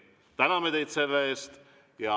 Täname teid selle eest!